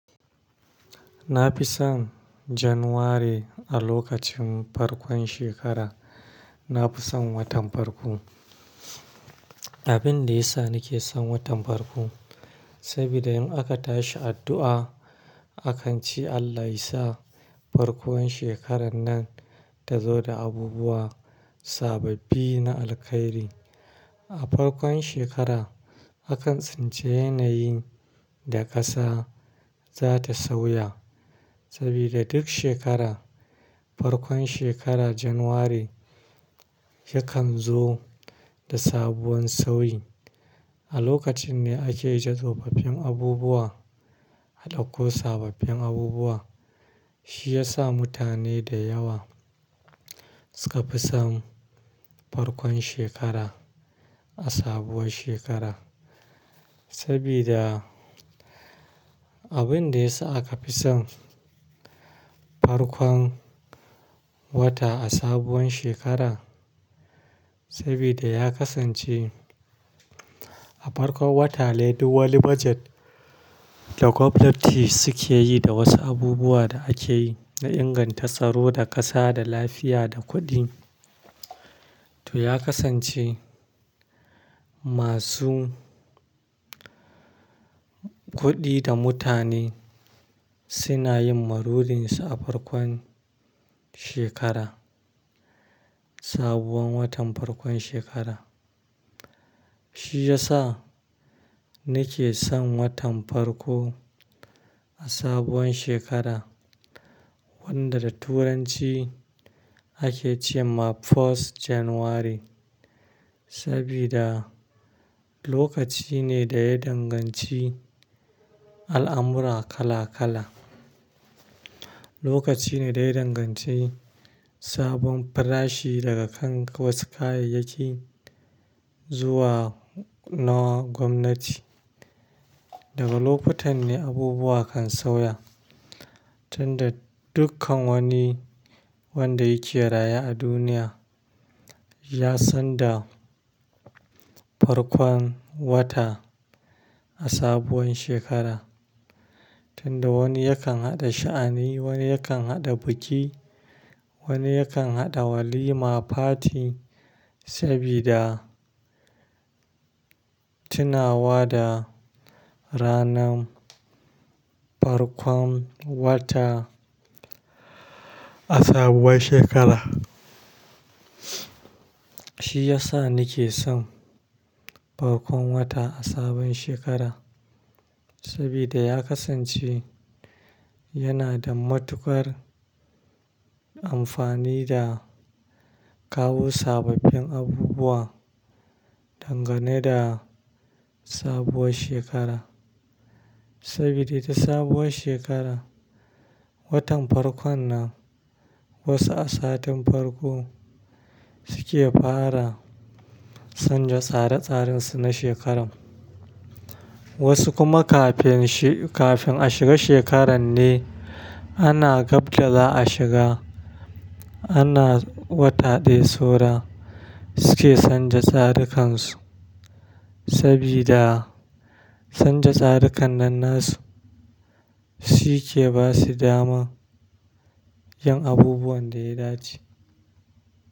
Na fi son Januwari a lokacin farkon shekara. Na fi son watan farko. Abin da ya sa nake son watan farko, sabida in aka tashi addu'a, akan ci Allah yasa farkon shekarar nan ta zo da abubuwa sababbi na alkhairi. A farkon shekara, akan tsinci yanayin da ƙasa za ta sauya. Saboda duk shekara, farkon shekara Januwari yakan zo da sabuwar sauyi. A lokacin ne ake ija tsofaffin abubuwa, aɗak ko sababbin abubuwa. Shi ya sa mutane da yawa suka fi son farkon shekara a sabuwar shekara. Sabida abin da ya sa aka fi son farkon wata a sabuwar shekara, sabida ya kasance a farkon wata ne duk wani bajet da gwamnati suke yi da wasu abubuwa da ake yi na inganta tsaro da ƙasa, da lafiya, da kuɗi. To ya kasance masu kuɗi da mutane suna yin marurinsu a farkon shekara, sabuwar watan farkon shekara. Shi ya sa nake son watan farko a sabuwar shekara wanda da turanci ake ce ma First Januwari. Sabida lokaci ne da ya danganci al'amura kala kala. Lokaci ne da ya danganci sabon farashi daga kan wasu kayayyaki zuwa na gwamnati. Daga lokutan ne abubuwa kan sauya, tun da dukkan wani wanda yake raya a duniya ya san da farkon wata a sabuwar shekara. Tun da wani yakan haɗa sha'ani, wani yakan haɗa biki, wani yakan haɗa walima, fati sabida tunawa da ranar farkon wata a sabuwar shekara. Shi ya sa nake son farkon wata a sabon shekara. Saboda ya kasance yana da matuƙar amfani da kawo sababbin abubuwa dangane da sabuwar shekara. Sabida da sabuwar shekara, watan farkon nan wasu a satin farko suke fara san ja tsare tsarinsu na shekarar. Wasu kuma kafin shi, kafin a shiga shekarar ne ana gab da za a shiga. Ana wata ɗaya saura suke san ja tsarikan su. Sabida san ja tsarikan nan nasu shi ke ba su daman yin abubuwan da ya dace.